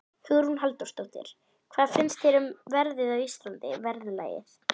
Hugrún Halldórsdóttir: Hvað finnst þér um verðið á Íslandi, verðlagið?